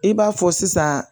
I b'a fɔ sisan